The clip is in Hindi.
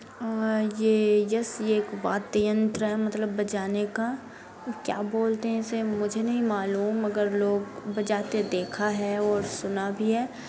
अ ये यस यह एक वाद्य यंत्र मतलब बजाने का और क्या बोलते है इसे मुझे नहीं मालूम मगर लोग बजाते देखा है और सुना भी है।